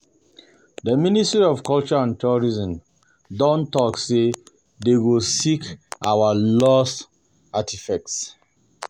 The ministry of culture and Tourism don talk say dey go seek our lost artefacts